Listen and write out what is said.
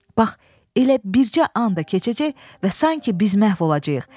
Bax, elə bircə an da keçəcək və sanki biz məhv olacağıq.